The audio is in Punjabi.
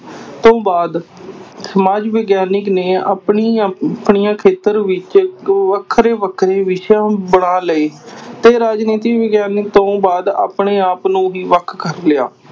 ਤੋਂ ਬਾਅਦ ਸਮਾਜ ਵਿਗਿਆਨਕ ਨੇ ਆਪਣੀ ਆਪਣੀਆਂ ਖੇਤਰ ਵਿੱਚ ਵੱਖਰੇ ਵੱਖਰੇ ਵਿਸ਼ਾ ਬਣਾ ਲਏ ਤੇ ਰਾਜਨੀਤੀ ਵਿਗਿਆਨ ਤੋਂ ਬਾਅਦ ਆਪਣੇ ਆਪ ਨੂੰ ਹੀ ਵੱਖ ਕਰ ਲਿਆ।